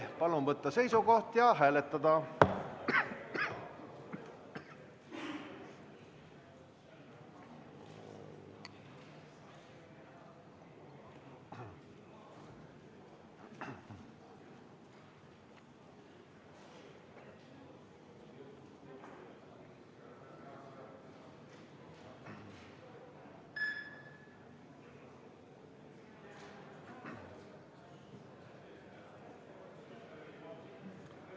Palun võtta seisukoht ja hääletada!